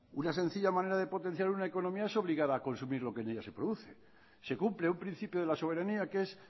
una sencilla manera de potenciar una economía es obligar a consumir lo que en ella se produce se cumple un principio de la soberanía que es